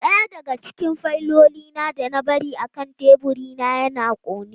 Daya daga cikin fayilolin da na bari akan teburina ya kone.